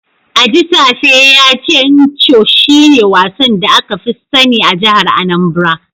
Ajisafe ya ce Ncho shine wasan da aka fi sani a jihar Anambra.